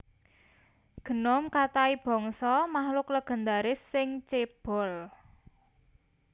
Gnome Katai bangsa makhluk legendaris sing cébol